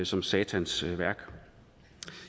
som satans værk